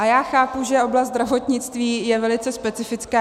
A já chápu, že oblast zdravotnictví je velice specifická.